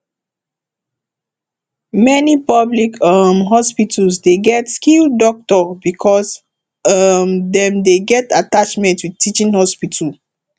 many public um hospitals dey get skilled doctor because um dem dey get atttachment with teaching hospital